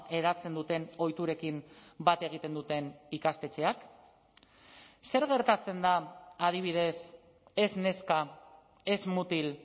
hedatzen duten ohiturekin bat egiten duten ikastetxeak zer gertatzen da adibidez ez neska ez mutil